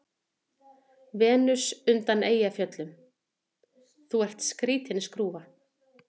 Venus undan Eyjafjöllum:- Þú ert skrýtin skrúfa.